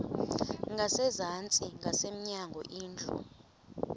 ngasezantsi ngasemnyango indlu